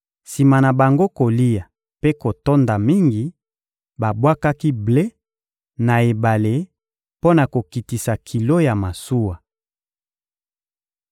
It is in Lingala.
Sima na bango kolia mpe kotonda mingi, babwakaki ble na ebale mpo na kokitisa kilo ya masuwa.